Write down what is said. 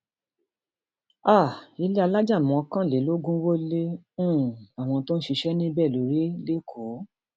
um ilé alájà mọkànlélógún wọ lé um àwọn tó ń ṣiṣẹ níbẹ lórí lẹkọọ